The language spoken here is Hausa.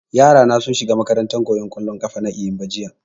yara na sun shiga makarantan koyan kollo na eyimba jiya